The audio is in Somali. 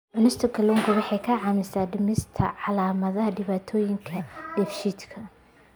Cunista kalluunka waxa ay caawisaa dhimista calaamadaha dhibaatooyinka dheefshiidka.